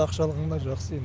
ақша алғанда жақсы енді